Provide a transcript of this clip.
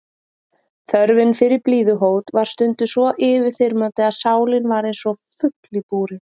Þörfin fyrir blíðuhót var stundum svo yfirþyrmandi að sálin var einsog fugl í búri.